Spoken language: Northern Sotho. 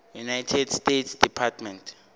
united states department